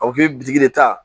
A bɛ de ta